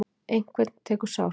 Einhvern tekur sárt